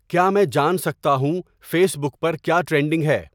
کیا میں جان سکتا ہوں فیس بک پر کیا ٹرینڈنگ ہے